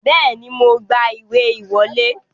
Bẹ́ẹ̀ni, mo gba ìwé ìwọlé